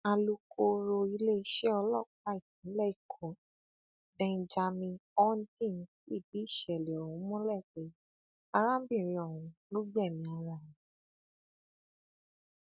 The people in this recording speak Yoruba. alùkooro iléeṣẹ ọlọpàá ìpínlẹ èkó benjamin hondnyin fìdí ìṣẹlẹ ọhún múlẹ pé arábìnrin ọhún ló gbẹmí ara rẹ